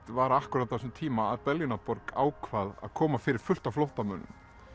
var á þessum tíma að ákvað að koma fyrir fullt af flóttamönnum